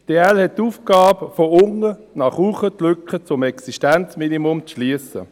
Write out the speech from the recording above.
Die EL haben die Aufgabe, von unten nach oben die Lücke zum Existenzminimum zu schliessen.